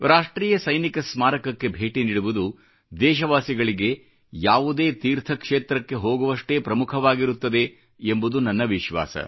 ರಾಷ್ಟ್ರೀಯ ಸೈನಿಕ ಸ್ಮಾರಕಕ್ಕೆ ಭೇಟಿ ನೀಡುವುದು ದೇಶವಾಸಿಗಳಿಗೆ ಯಾವುದೇ ತೀರ್ಥ ಕ್ಷೇತ್ರಕ್ಕೆ ಹೋಗುವಷ್ಟೇ ಪ್ರಮುಖವಾಗಿರುತ್ತದೆ ಎಂಬುದು ನನ್ನ ವಿಶ್ವಾಸ